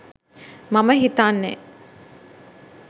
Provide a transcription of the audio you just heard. මම හිතන්නෙ.